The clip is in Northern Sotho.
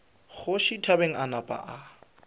kgoši thabang a napa a